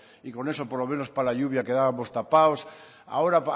y con eso por lo menos para la lluvia quedábamos tapados ahora